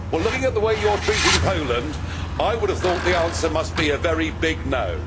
Well, looking at the way you are treating Poland, I would have thought the answer must be a very big no'.